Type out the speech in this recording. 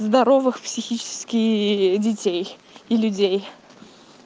здоровых психически и детей и людей